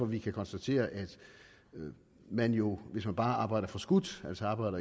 vi kan konstatere at man jo hvis man bare arbejder forskudt